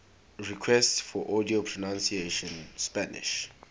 requests for audio pronunciation spanish